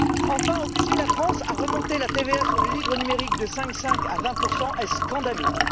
Enfin, obliger la France à remonter la TVA sur le livre numérique de 5,5 à 20 est scandaleux.